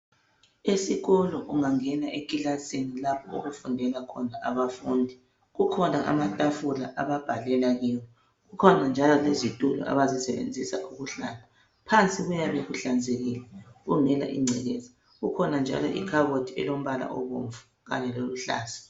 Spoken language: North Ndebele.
Esikolo ungangena ekilasini lapho okufundela khona abafundi, kukhona amatafula ababhalela kiwo, kukhona njalo lezitulo abazisebenzisa ukuhlala. Phansi kuyabe kuhlanzekile kungela ingcekeza. Kukhona njalo ikhabothi elombala obomvu kanye loluhlaza.